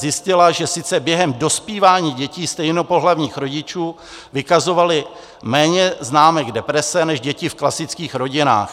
Zjistila, že sice během dospívání děti stejnopohlavních rodičů vykazovaly méně známek deprese než děti v klastických rodinách.